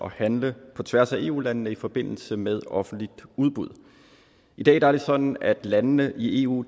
at handle på tværs af eu landene i forbindelse med offentlige udbud i dag er det sådan at landene i eu